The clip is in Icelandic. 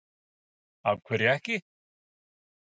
Egill Einarsson: Af hverju ekki?